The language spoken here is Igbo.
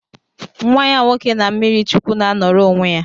Nwa ya nwoke na mmirichukwu na anoro onwe ya